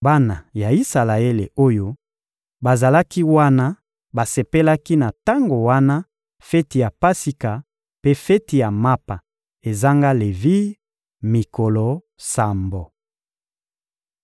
Bana ya Isalaele oyo bazalaki wana basepelaki na tango wana feti ya Pasika mpe feti ya Mapa ezanga levire, mikolo sambo. (2Ba 23.22-23)